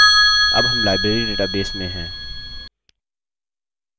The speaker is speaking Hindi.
अब हम library database में है